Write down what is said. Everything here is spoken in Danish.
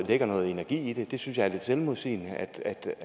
lægger noget energi i det det synes jeg er lidt selvmodsigende